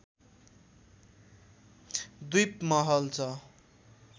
द्वीप महल छ